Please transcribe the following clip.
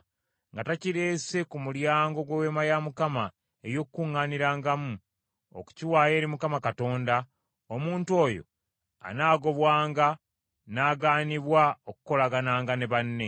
nga takireese ku mulyango gw’Eweema ey’Okukuŋŋaanirangamu, okukiwaayo eri Mukama Katonda, omuntu oyo anaagobwanga n’agaanibwa okukolagananga ne banne.